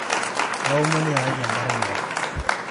kaomon iyakaki enkare naok